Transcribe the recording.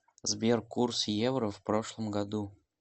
сбер курс евро в прошлом году